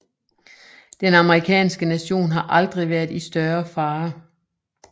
Den amerikanske nation har aldrig været i større fare